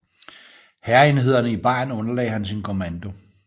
Hærenhederne i Bayern underlagde han sin kommando